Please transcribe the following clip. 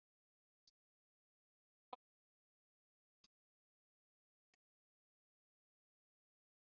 Ég held að Lang hafi verið sá sem kom hlutunum í verk, maðurinn á götunni.